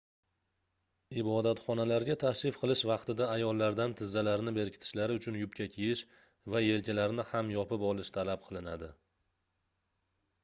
ibodatxonalarga tashrif qilish vaqtida ayollardan tizzalarini berkitishlari uchun yubka kiyish va yelkalarini ham yopib olish talab qilinadi